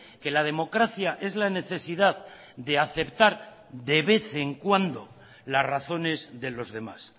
que la democracia es la necesidad de aceptar de vez en cuando las razones de los demás